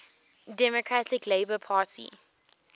democratic labour party